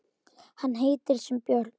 Hann heitir sem björn.